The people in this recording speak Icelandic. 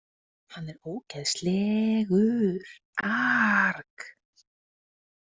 Hann er ógeðsleeegghhur aarhgghhh!